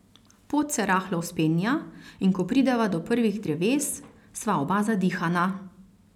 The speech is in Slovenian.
Pot se rahlo vzpenja, in ko prideva do prvih dreves, sva oba zadihana.